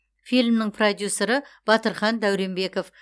фильмнің продюсері батырхан дәуренбеков